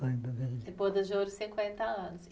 E boda de ouro, cinquenta anos.